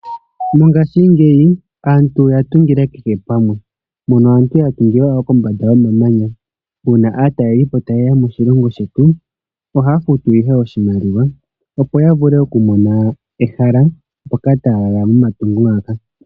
Mongashingeyi aantu oya tungila kehe pamwe. Mono aantu ya tungila wo kombanda yomamanya. Una aatalelipo tayeya moshilongo shetu ohaa futu ihe oshimaliwa opo ya vule oku mona ehala mpoka taya lala momatungo ngaka.